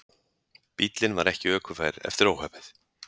Bíllinn var ekki ökufær eftir óhappið